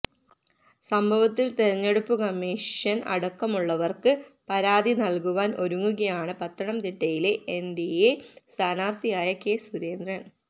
സംഭവത്തിൽ തെരഞ്ഞെടുപ്പ് കമ്മീഷൻ അടക്കമുളളവർക്ക് പരാതി നൽകുവാൻ ഒരുങ്ങുകയാണ് പത്തനംതിട്ടയിലെ എൻഡിഎ സ്ഥാനാർത്ഥിയായ കെ സുരേന്ദ്രൻ